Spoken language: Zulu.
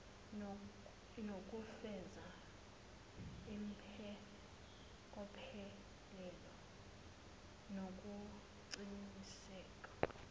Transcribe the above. nokufeza impokophelelo nokuqiniseka